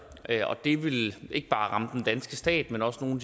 og det vil ikke bare ramme den danske stat men også nogle